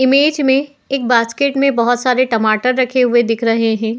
Image में एक basket में बहोत सारे टमाटर रखे हुए दिख रहे हैं।